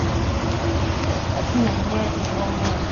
афина меня это не волнует